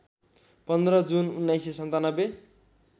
१५ June १९९७